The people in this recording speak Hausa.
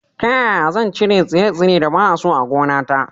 Ta ƴaƴa zan chire tsire-tsire da ba a so a gonata?